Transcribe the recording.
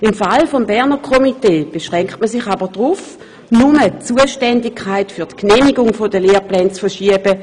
Im Fall des Berner Komitees beschränkt man sich aber darauf, nur die Zuständigkeit für die Genehmigung der Lehrpläne zu verschieben.